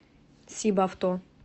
сибавто